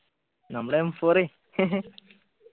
നമ്മുടെ m four A